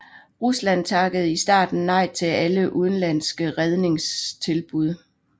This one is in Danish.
Rusland takkede i starten nej til alle udenlandske redningstilbud